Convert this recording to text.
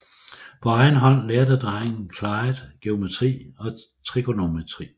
På egen hånd lærte drengen Clyde geometri og trigonometri